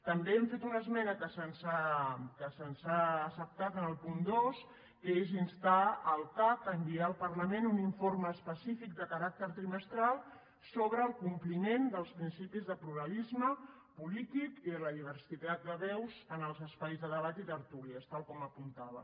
també hem fet una esmena que se’ns ha acceptada en el punt dos que és instar el cac a enviar al parlament un informe específic de caràcter trimestral sobre el compliment dels principis de pluralisme polític i de la diversitat de veus en els espais de debat i tertúlies tal com apuntava